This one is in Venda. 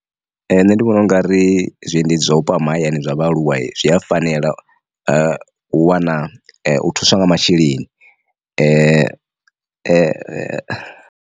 Nṋe ndi vhona u ngari zwiendedzi zwa vhupo ha mahayani zwa vhaaluwa zwi a fanela u wana u thuswa nga masheleni .